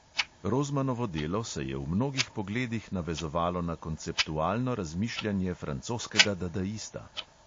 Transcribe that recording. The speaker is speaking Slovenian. Rozmanovo delo se je v mnogih pogledih navezovalo na konceptualno razmišljanje francoskega dadaista.